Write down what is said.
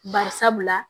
Bari sabula